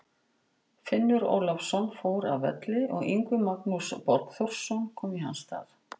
Finnur Ólafsson fór af velli og Yngvi Magnús Borgþórsson kom í hans stað.